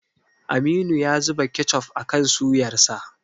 Aminu ya zuba kechof akan suyarsa.